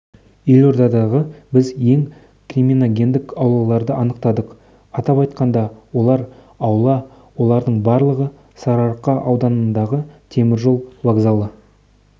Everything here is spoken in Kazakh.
елордада біз ең криминогендік аулаларды анықтадық атап айтқанда олар аула олардың барлығы сарыарқа ауданындағы теміржол вокзалы